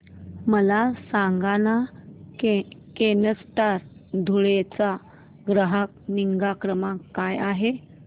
मला सांगाना केनस्टार धुळे चा ग्राहक निगा क्रमांक काय आहे